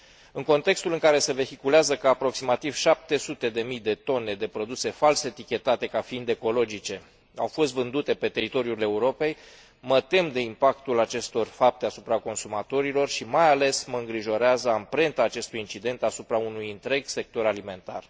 În contextul în care se vehiculează că aproximativ 700 de mii de tone de produse fals etichetate ca fiind ecologice au fost vândute pe teritoriul Europei, mă tem de impactul acestor fapte asupra consumatorilor și, mai ales, mă îngrijorează amprenta acestui incident asupra unui întreg sector alimentar.